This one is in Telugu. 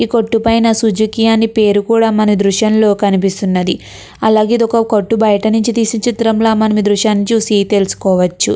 ఈ కొట్టు పైన సుజుకి అని పేరు కూడా మన దృశంలో కనిపిస్తున్నది. అలాగే ఒక కొట్టు బయట నుంచి ఈ దృశ్యాన్ని చూసి తెలుసుకోవచ్చు.